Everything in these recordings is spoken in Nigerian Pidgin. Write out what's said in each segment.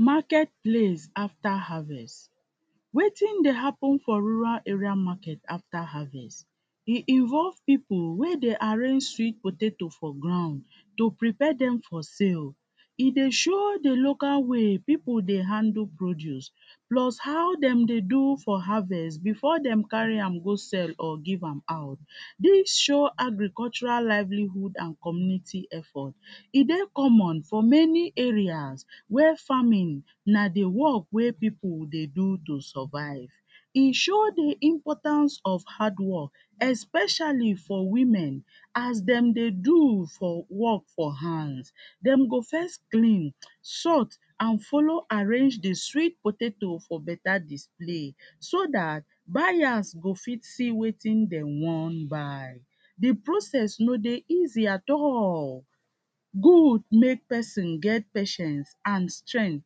Market place after harvest, wetin dey happen for rural area market after harvest e involve pipu wey dey arrange sweet potato for ground to prepare dem for sale, e dey show di local way pipu dey handle produce plus how dem dey do for harvest before dem carry am go sell or give am out. Dis show agricultural livelihood and Community effort e dey common for many areas where farming na di work wey pipu dey do to survive, e show di importance of hardwork especially for women as dem dey as dem dey do for work for hand, dey go first clean, sought and follow arrange di sweet potato for better display so dat buyers go fit see wetin dem wan buy, di process no dey easy at all good wey pesin get patient and strength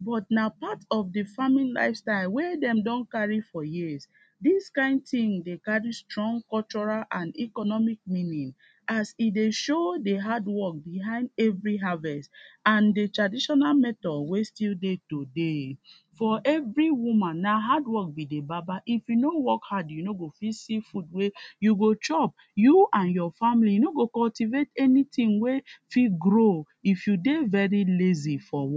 but na part of di farming lifestyle wey dem don carry for years, dis kind tin dey carry strong cultural and economic meaning as e dey show di as e dey show di hardwork behind every harvest and di traditional and di traditional method wey still dey today, for every woman na hardwork be di baba if you no work hard you no go see food wey you go chop, you and your family no go cultivate anytin wey fit grow if you dey lazy for work.